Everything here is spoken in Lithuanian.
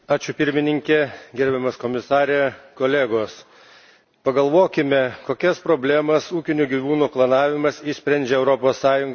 Gerbiamas Komisare, kolegos, pagalvokime, kokias problemas ūkinių gyvūnų klonavimas išsprendžia Europos Sąjungos žemės ūkyje.